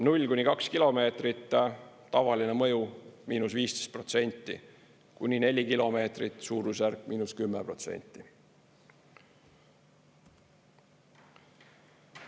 0–2 kilomeetrit: tavaline mõju –15%, kuni 4 kilomeetrit: suurusjärk –10%.